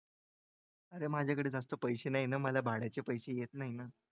माझ्याकडे जास्त पैसे नाही ना मला भाड्याचे पैसे येत नाही ना.